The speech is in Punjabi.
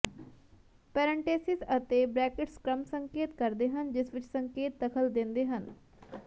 ਪੈਰੇਂਟੇਸਿਸ ਅਤੇ ਬ੍ਰੈਕਿਟਸ ਕ੍ਰਮ ਸੰਕੇਤ ਕਰਦੇ ਹਨ ਜਿਸ ਵਿਚ ਸੰਕੇਤ ਦਖਲ ਦਿੰਦੇ ਹਨ